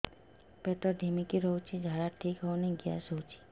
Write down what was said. ପେଟ ଢିମିକି ରହୁଛି ଝାଡା ଠିକ୍ ହଉନି ଗ୍ୟାସ ହଉଚି